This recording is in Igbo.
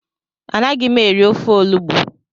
Anaghị m eri ofe olugbo